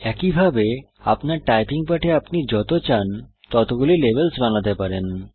একইভাবে আপনার টাইপিং পাঠে আপনি যত চান ততগুলি লেভেলস বানাতে পারেন